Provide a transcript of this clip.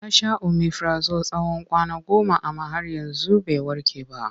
Ya sha omifirazol tsawon kwana goma amma har yanzu bai warke ba.